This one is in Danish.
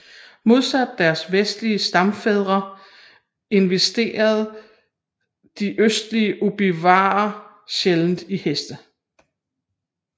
Modsat deres vestlige stammefrænder investerede de østlige ojibwaer sjældent i heste